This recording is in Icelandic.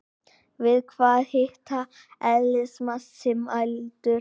Við hvaða hita er eðlismassi mældur?